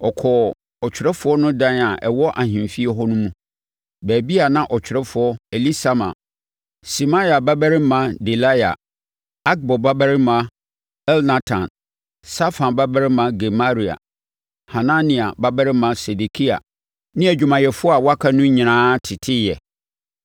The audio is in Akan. ɔkɔɔ ɔtwerɛfoɔ no dan a ɛwɔ ahemfie hɔ no mu, baabi a na ɔtwerɛfoɔ Elisama, Semaia babarima Delaia, Akbor babarima Elnatan, Safan babarima Gemaria, Hanania babarima Sedekia ne adwumayɛfoɔ a wɔaka no nyinaa teteɛ.